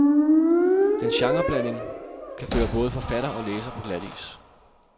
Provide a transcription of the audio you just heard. Dens genreblanding kan føre både forfatter og læser på glatis.